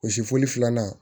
O sifoli filanan